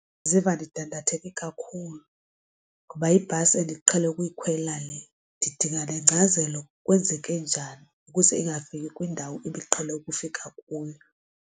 Ndiziva ndidandatheke kakhulu ngoba yibhasi endiqhele ukuyikhwela le ndidinga nengcazelo kwenzeke njani ukuze ingafiki kwindawo ibiqhele ukufika kuyo.